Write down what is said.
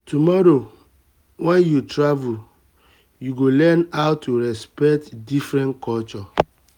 tomorrow when you travel you go learn how to respect different customs.